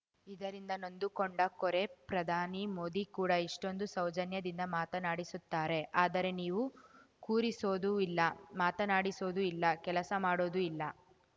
ಇದರಿಂದ ನೊಂದುಕೊಂಡ ಕೋರೆ ಪ್ರಧಾನಿ ಮೋದಿ ಕೂಡ ಎಷ್ಟೊಂದು ಸೌಜನ್ಯದಿಂದ ಮಾತನಾಡಿಸುತ್ತಾರೆ ಆದರೆ ನೀವು ಕೂರಿಸೋದೂ ಇಲ್ಲ ಮಾತನಾಡಿಸೋದೂ ಇಲ್ಲ ಕೆಲಸ ಮಾಡೋದೂ ಇಲ್ಲ